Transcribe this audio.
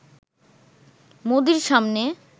মোদির সামনে